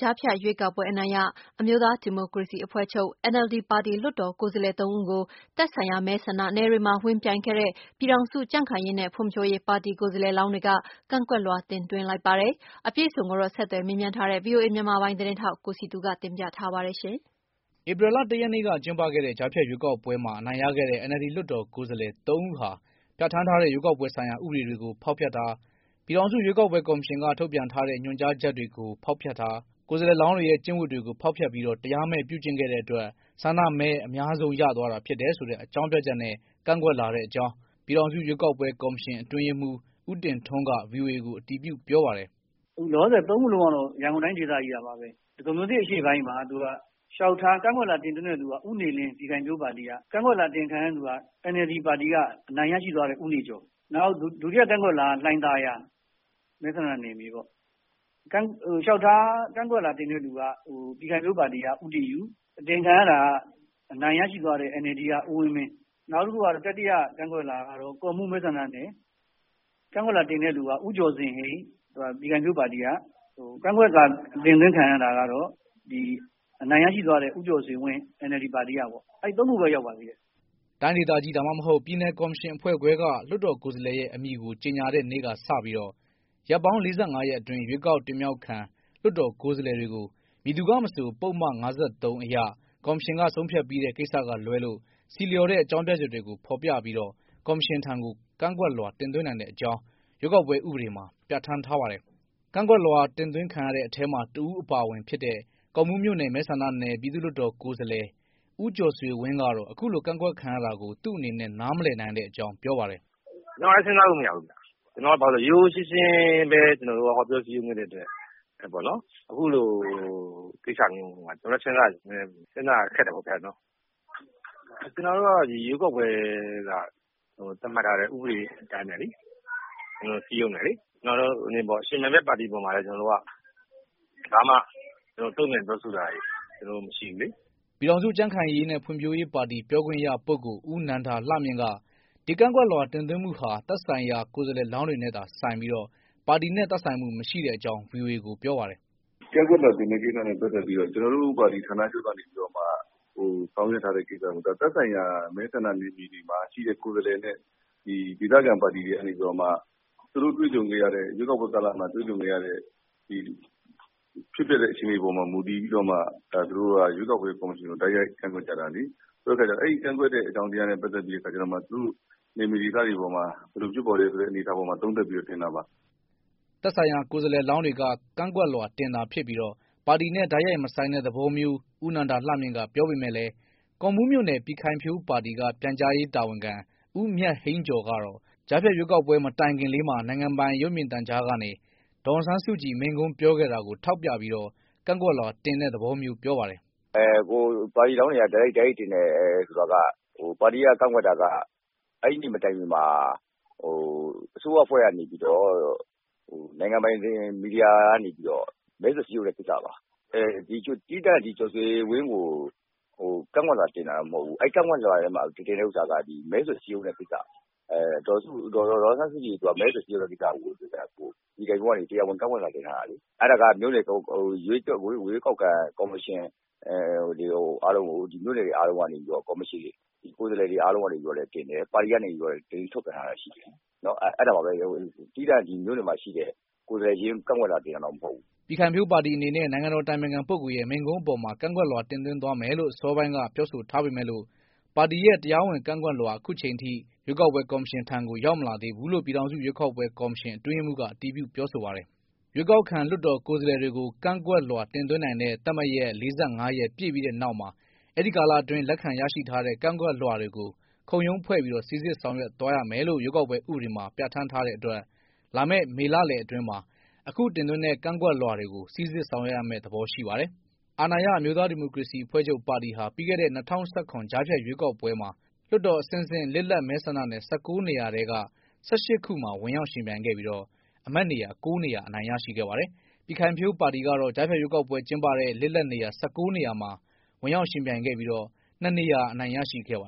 ကြားဖြတ်ရွေးကောက်ပွဲ အနိုင်ရ အမျိုးသားဒီမိုကရေစီအဖွဲ့ချုပ် NLD ပါတီ လွှတ်တော်ကိုယ်စားလှယ် ၃ ဦးကို သက်ဆိုင် ရာ မဲဆန္ဒနယ်တွေမှာ ဝင်ပြိုင်ခဲ့တဲ့ပြည်ထောင်စု ကြံခိုင်ရေးနဲ့ဖွံဖြိုးရေး ပြည်ခိုင်ဖြိုးပါတီ ကိုယ်စားလှယ်လောင်းတွေက ကန့်ကွက် လွှာတင်သွင်းလိုက်ပါတယ်။ အပြည့်အစုံကိုတော့ ဆက်သွယ်မေးမြန်းထားတဲ့ ဗွီအိုအေမြန်မာပိုင်း သတင်းထောက် ကိုစည်သူကတင်ပြပေးမှာပါ။ ဧပြီလ ၁ ရက်နေ့က ကျင်းပခဲ့တဲ့ ကြားဖြတ်ရွေးကောက်ပွဲမှာ အနိုင်ရခဲ့တဲ့ NLD လွှတ်တော်ကိုယ်စားလှယ် ၃ ဦးဟာပြဌာန်းထား တဲ့ ရွေးကောက်ပွဲဆိုင်ရာ ဥပဒေတွေကို ဖောက်ဖျက်တယ်၊ ပြည်ထောင်စုရွေးကောက်ပွဲကော်မရှင်က ထုတ်ပြန်ထားတဲ့ ညွှန်ကြား ချက်တွေကို ဖောက်ဖျက်တယ်၊ ကိုယ်စားလှယ်လောင်းတွေရဲ့ ကျင့်ဝတ်ကိုလဲ ဖောက်ဖျက်ပြီးတော့ တရားမဲ့ပြုကျင့်တဲ့အတွက် ဆန္ဒမဲအများဆုံး ရသွားတာဖြစ်တယ်လို့ အကြောင်းပြပြီးတော့ ကန့်ကွက်ထားတဲ့အကြောင်း ပြည်ထောင်စု ရွေးကောက်ပွဲ ကော်မရှင် အတွင်းရေးမှုး ဦးတင်ထွန်းက ဗွီအိုအေကို အတည်ပြု ပြောပါတယ်။ “အခုလောလောဆည် ၃ ဦးကတော့ ရန်ကုန်တိုင်းဒေသကြီးကပါ။ ဒဂုံမြို့သစ်အရှေ့ပိုင်းမှာ ကန့်ကွက်လွှာတင်သွင်းတာက ဦးနေလင်း ပြည်ခိုင်ဖြိုးပါတီက ၊ ကန့်ကွက်လွှာ အတင်ခံရသူကတော့ NLD ပါတီက အနိုင်ရရှိသွားတဲ့ ဦးနေကျော်။ နောက်ဒုတိယ ကန့်ကွက်လွှာက လှိုင်သာယာ မဲဆန္ဒနယ်မြေပေါ့ ကန့်ကွက်လွှာတင်သွင်းတာက ပြည်ခိုင်ဖြိုးပါတီက ဦးတင်ယု၊ အတင်ခံရသူကတော့ အနိုင်ရရှိသွားတဲ့ NLD ပါတီက ဦးဝင်းမင်း။ နောက်တတိယ ကန့်ကွက်လွှာက ကော့မှူးမဲဆန္ဒနယ် ကန့်ကွက်လွှာတင်သွင်းတာက ဦးကျော်ဇင်ဟိန်း ပြည်ခိုင်ဖြိုးပါတီက ၊ နောက် ကန့်ကွက်လွှာ အတင်ခံရသူကတော့ အနိုင်ရရှိသွားတဲ့ ဦးကျော်ဇင်ဝင်း NLD ပါတီကပေါ့ အဲဒီ ၃ ခုပဲ ရောက်ပါသေးတယ်။” တိုင်းဒေသကြီး ဒါမှမဟုတ် ပြည်နယ် ကော်မရှင်အဖွဲ့ခွဲက လွှတ်တော်ကိုယ်စားလှယ်ရဲ့ အမည်ကို ကြောညာတဲ့နေ့ကစပြီး ရက်ပေါင်း ၄၅ ရက်အတွင်း ရွေးကောက်တင်မြှောက်ခံ လွတ်တော်ကိုယ်စားလှယ်တွေကို မည်သူကမဆို ပုဒ်မ ၅၃ အရ ကော်မရှင်က ဆုံးဖြတ်ပြီးတဲ့ ကိစ္စက လွဲလို့ ဆီလျော်တဲ့ အကြောင်းပြချက်တွေ ကို ဖော်ပြပြီး ကော်မရှင်ထံ ကန့်ကွက်လွှာတင်သွင်းနိုင်တဲ့အကြောင်း ဥပဒေမှာ ပြဌာန်း ထားပါတယ်။ ကန့်ကွက်လွှာ တင်သွင်းခံရတဲ့ထဲမှာ တဦးအပါအဝင်ဖြစ်တဲ့ ကော့မှုးမြို့နယ်မဲဆန္ဒနယ် ပြည်သူ့လွှတ်တော်ကိုယ်စားလှယ် ဦးကျော်ဆွေဝင်းကတော့ အခုလို ကန့်ကွက်ခံရတာကို သူ့အနေနဲ့ နားမလည်နိုင်တဲ့အကြောင်း ပြောပါတယ်။ “ကျနော်လည်း စဉ်းစားလို့မရဘူးခင်ဗျ ကျနော်က ရိုးရိုးရှင်းရှင်းပဲ ကျနေ်ာတို့က ဟောပြောစည်းရုံးခဲ့တဲ့အတွက် အခုလိုကိစ္စမျိုးပေါ်မှာ ကျနေ်ာလည်း စဉ်းစားရ ခက်တယ်ပေါ့နော်။ ကျနေ်ာတို့ကတော့ ဒီရွေးကောက်ပွဲမှာ သတ်မှတ်ထားတဲ့ ဥပဒေတွေအတိုင်းပဲ ကျနေ်ာတို့ စည်းရုံးတယ်လေ။ ယှဉ်ပြိုင်တဲ့ ပါတီအပေါ်မှာလည်း ကျနေ်ာတို့ ဘာမှ တုံ့ပြန်ပြောဆိုတာတွေ မရှိဘူးလေ။” ပြည်ထောင်စု ကြံခိုင်ဖွံဖြိုးရေး ပါတီ ပြောခွင့်ရ ပုဂ္ဂိုလ် ဦးနန္ဒာလှမြင့်က ဒီကန့်ကွက်လွှာ တင်သွင်းမှုဟာ သက်ဆိုင်ရာ ကိုယ်စားလှယ်လောင်းတွေနဲ့သာဆိုင်ပြီး ပါတီနဲ့ သက်ဆိုင်မှု မရှိတဲ့အကြောင်း ဗွီအိုအေကို ပြောပါတယ်။ “ကန့်ကွက်လွှာတင်တာနဲ့ ပတ်သက်ပြီးတော့ ကျနေ်ာတို့ပါတီ ဌာနချုပ်ကနေပြီးတော့မှ ဆောင်ရွက်ထားတဲ့ ကိစ္စမဟုတ်ဘူး။ သက်ဆိုင်ရာ မဲဆန္ဒနယ်မှာ ရှိတဲ့ ကိုယ်စားလှယ်နဲ့ ဒေသခံပါတီ တွေကနေပြီးတော့မှ သူတို့ရွေးကောက်ပွဲကာလမှာ တွေ့ကြုံခဲ့ရတဲ့ အခြေအနေပေါ်မှာ မူတည်ပြီးတော့မှ ရွေးကောက်ပွဲကော်မရှင်ကို တိုက်ရိုက်ကန့်ကွက်ကြတာလေ။ အဲဒီကန့်ကွက်တဲ့အကြောင်းတွေနဲ့ ပတ်သက်ပြီးတော့ သူတို့နယ်မြေဒေသတွေပေါ်မှာ ဘယ်လိုဖြစ်ပေါ်တယ်ဆိုပြီးတော့မှ ဒီအပေါ်မှာသုံးသပ်ပြီးတော့ တင်တာပါ။” သက်ဆိုင်ရာ ကိုယ်စားလှယ်လောင်းတွေက ကန့်ကွက်လွှာတင်တာဖြစ်ပြီး ပါတီနဲ့ တိုက်ရိုက်မဆိုင်တဲ့သဘောမျိုး ဦးနန္ဒာလှမြင့်က ပြောပေမဲ့လဲ ကော့မှုး မြို့နယ် ပြည်ခိုင်ဖြိုး ပါတီက ပြန်ကြားရေး တာဝန်ခံ ဦးမြတ်ဟိန်းကျော်ကတော့ ကြားဖြတ်ရွေးကောက်ပွဲ မတိုင်ခင်လေးမှာ နိုင်ငံပိုင် ရုပ်မြင်သံကြားကနေ ဒေါ်အောင်ဆန်းစုကြည် မိန့်ခွန်းပြောခဲ့ တာကိုထောက်ပြပြီးတော့ ကန့်ကွက်လွှာတင်တဲ့သဘောမျိုး ပြောပါတယ်။ “ကိုယ်စားလှယ်လောင်းတွေက တိုက်ရိုက်တင်တယ်ဆိုတာက ပါတီက ကန့်ကွက်တာက အဲဒီနေ့မတိုင်ခင်မှာ အစိုးရအဖွဲ့ကနေပြီးတော့ နိုင်ငံပိုင်မီဒီယာကနေပြီးတော့ မဲဆွယ်စည်းရုံးမှု လုပ်တာပါ။ သီးသန့် ဦးကျော်ဆွေဝင်းကို ကန့်ကွက်လွှာတင်တာတော့မဟုတ်ဘူး။ ကန့်ကွက်လွှာထဲမှာ တင်တဲ့ဟာက မဲဆွယ်စည်းရုံးရေးလုပ်တဲ့ ကိစ္စပါ။ ဒေါ်အောင်ဆန်းစုကြည်ကိုယ်တိုင် မဲဆွယ်စည်းရုံးတဲ့ ကိစ္စကို ပြည်ခိုင်ဖြိုးပါတီကနေ တရားဝင် ကန့်ကွက်လွှာတင်ထားတာလေ။ အဲဒါက မြို့နယ်ရွေးကောက်ခံ ကော်မရှင်အားလုံးကို မြို့နယ်ကိုယ်စားလှယ်တွေအားလုံးကနေလည်း တင်တယ်။ ပါတီကနေလည်း သတင်းထုတ်ပြန်တာတွေရှိတယ်။ အဲဒါပါပဲ သီးသန့် မြို့နယ်မှာရှိတဲ့ ကိုယ်စားလှယ်တွေကို ကန့်ကွက်လွှာတင်တာမဟုတ်ပါဘူး။” ပြည်ခိုင်ဖြိုးပါတီအနေနဲ့ နိုင်ငံေတော် အတိုင်ပင်ခံ ပုဂ္ဂိုလ်ရဲ့ မိန့်ခွန်းအပေါ်မှာ ကန့်ကွက်လွှာတင်သွင်းသွားမယ်လို့ အစောပိုင်းက ပြောဆိုထားပေမယ့်လို့ ပါတီရဲ့ တရားဝင် ကန့်ကွက်လွှာ လက်ရှိအချိန်ထိ ရွေးကောက်ပွဲ ကော်မရှင်ထံ ရောက်မလာသေးဘူးလို့ ပြည်ထောင်စု ရွေးကောက်ပွဲကော်မရှင် အတွင်းရေးမှုးက အတည်ပြုပြောဆိုပါတယ်။ ရွေးကောက်ခံလွှတ်တော်ကိုယ်စားလှယ်တွေကို ကန့်ကွက်လွှာတင်သွင်းနိုင်တဲ့ သတ်မှတ်ရက် ၄၅ ရက်ပြည့်ပြီးတဲ့နောက်မှာ အဲဒီ ကာလအတွင်း လက်ခံ ရရှိထားတဲ့ ကန့်ကွက်လွှာတွေကို ခုံရုံးဖွဲ့ပြီးတော့ စိစစ်ဆောင်ရွက်သွားရမယ်လို့ ဥပဒေမှာ ပြဌာန်းထားတဲ့ အတွက် လာမယ့်မေလလယ်အတွင်းမှာ အခု ကန့်ကွက်လွှာတွေကို စိစစ်ဆောင်ရွက်ရမယ့်ပုံရှိပါတယ်။ အာဏာရ အမျိုးသား ဒီမိုကရေစီအဖွဲ့ချုပ်ပါတီဟာ ပြီးခဲ့တဲ့ ၂၀၁၇ ကြားဖြတ်ရွေးကောက် ပွဲမှာ လွှတ်တော်အဆင့်ဆင့် လစ်လပ် မဲဆန္ဒနယ် ၁၉ နေရာထဲက ၁၈ ခုမှာ ဝင်ရောက်ယှဉ်ပြိုင်ခဲ့ပြီးတော့ အမတ်နေရာ ၉ နေရာ အနိုင်ရခဲ့ပါတယ်။ ပြည်ခိုင်ဖြိုးပါတီက တော့ ကြားဖြတ် ရွေးကောက်ပွဲကျင်းပတဲ့ လွှတ်တော်အဆင့်ဆင့် လစ်လပ်နေရာ ၁၉ နေရာမှာ ဝင်ရောက်ယှဉ်ပြိုင်ခဲ့ပြီး ၂ နေရာ အနိုင်ရရှိခဲ့ပါ